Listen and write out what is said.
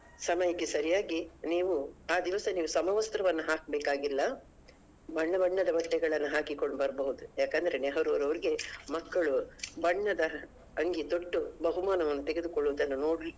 ಸಮಯಕ್ಕೆ ಸರಿಯಾಗಿ ನೀವು ಆ ದಿವಸ ನೀವು ಸಮವಸ್ತ್ರವನ್ನ ಹಾಕ್ಬೇಕಾಗಿಲ್ಲ ಬಣ್ಣ ಬಣ್ಣದ ಬಟ್ಟೆಗಳನ್ನು ಹಾಕಿಕೊಂಡು ಬರ್ಬೋದು ಯಾಕಂದ್ರೆ ನೆಹರುರವರಿಗೆ ಮಕ್ಕಳು ಬಣ್ಣದ ಅಂಗಿ ತೊಟ್ಟು ಬಹುಮಾನವನ್ನ ತೆಗೆದುಕೊಳ್ಳುವುದನ್ನ ನೋಡ್~